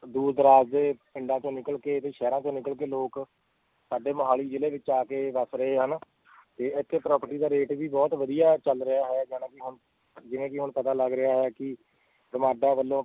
ਦੂਰ ਦਰਾਜ ਦੇ ਪਿੰਡਾਂ ਚੋਂ ਨਿਕਲ ਕੇ ਤੇ ਸ਼ਹਿਰਾਂ ਚੋਂ ਨਿਕਲ ਕੇ ਲੋਕ ਸਾਡੇ ਮੁਹਾਲੀ ਜ਼ਿਲ੍ਹੇ ਵਿੱਚ ਆ ਕੇ ਵੱਸ ਰਹੇ ਹਨ ਤੇ ਇੱਥੇ property ਦਾ rate ਵੀ ਬਹੁਤ ਵਧੀਆ ਚੱਲ ਰਿਹਾ ਹੈ ਜਾਣੀਕਿ ਹੁਣ ਜਿਵੇਂ ਕਿ ਹੁਣ ਪਤਾ ਲੱਗ ਰਿਹਾ ਹੈ ਕਿ GMADA ਵੱਲੋਂ